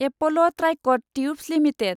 Apple' Tricot Tubes limited